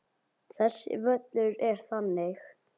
Þessi völlur er þannig.